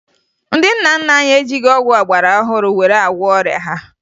Ndị nna nna anyị ejighi ọgwụ ọgbarọhụrụ were agwọ ọrịa ha